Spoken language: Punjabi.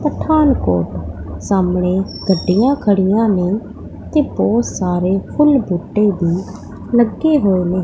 ਪਠਾਨਕੋਟ ਸਾਹਮਣੇ ਗੱਡੀਆਂ ਖੜੀਆਂ ਨੇਂ ਤੇ ਬਹੁਤ ਸਾਰੇ ਫੁੱਲ ਬੂਟੇ ਵੀ ਲੱਗੇ ਹੋਏ ਨੇਂ।